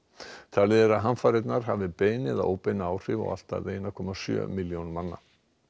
talið er að hamfarirnar hafi bein eða óbein áhrif á allt að einum komma sjö milljónir manna